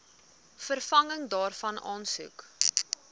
vervanging daarvan aansoek